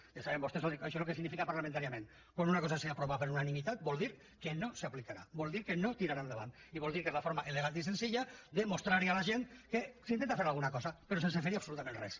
ja saben vostès això el que significa parlamentàriament quan una cosa s’aprova per unanimitat vol dir que no s’aplicarà vol dir que no tirarà endavant i vol dir que és la forma elegant i senzilla de mostrar a la gent que s’intenta fer alguna cosa però sense fer hi absolutament res